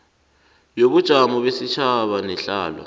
yobunjalo besitjhaba nehlalo